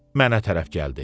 Mənə tərəf gəldi.